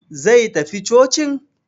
Zai tafi cocin?